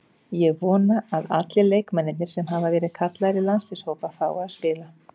Ég vona að allir leikmennirnir sem hafa verið kallaðir í landsliðshópa fái að spila.